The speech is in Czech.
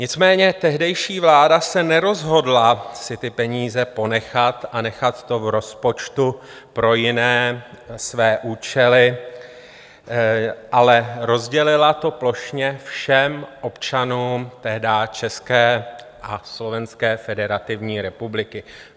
Nicméně tehdejší vláda se nerozhodla si ty peníze ponechat a nechat to v rozpočtu pro jiné své účely, ale rozdělila to plošně všem občanům tehdy České a Slovenské Federativní Republiky.